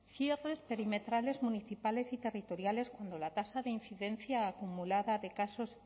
cierres perimetrales municipales y territoriales cuando la tasa de incidencia acumulada de casos